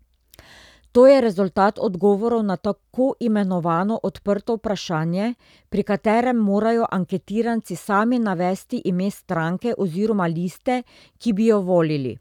To je rezultat odgovorov na tako imenovano odprto vprašanje, pri katerem morajo anketiranci sami navesti ime stranke oziroma liste, ki bi jo volili.